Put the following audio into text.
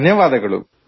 ಧನ್ಯವಾದಗಳು